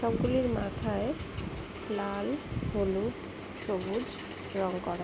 সবগুলির মাথায় লাল হলুদ সবুজ রং করা।